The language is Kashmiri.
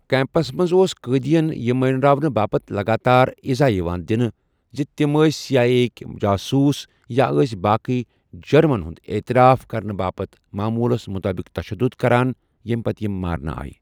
کیمپَس منٛز اوس قۭٔدیَن یہِ مانٛراونہٕ باپتھ لَگار تار عزہ یِوان دِنہٕ زِ تِمۍ ٲس سی آئی اے یِک جاسوٗس، یا ٲس باقی جُرمَن ہُنٛد اعتراف کرنہٕ باپتھ معموٗلَس مُطٲبِق تشدد کران، ییٚمہِ پتہٕ یِمۍ مارنہٕ آیہِ۔